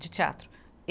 de teatro.